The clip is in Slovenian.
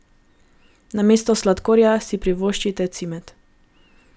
Namesto sladkorja si privoščite cimet.